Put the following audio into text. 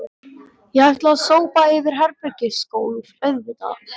Ég ætla að sópa yfir herbergisgólfið auðvitað